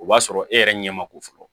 O b'a sɔrɔ e yɛrɛ ɲɛ ma ko fɔlɔ